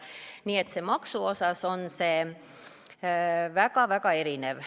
Nii et maksumus on väga-väga erinev.